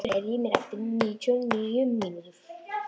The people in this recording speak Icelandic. Rósmundur, heyrðu í mér eftir níutíu og níu mínútur.